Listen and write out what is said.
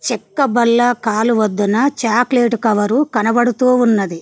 చెక్క బల్ల కాలువొద్దన చాక్లెటు కవరు కనబడుతూ ఉన్నది.